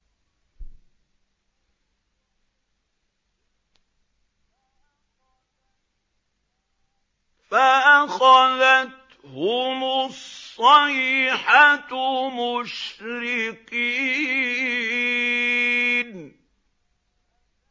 فَأَخَذَتْهُمُ الصَّيْحَةُ مُشْرِقِينَ